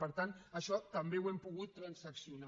per tant això també ho hem pogut transaccionar